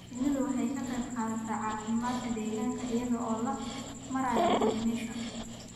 Shinnidu waxay ka qayb qaadataa caafimaadka deegaanka iyada oo loo marayo pollination.